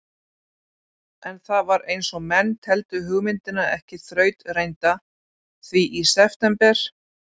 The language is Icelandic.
En það var einsog menn teldu hugmyndina ekki þrautreynda, því í september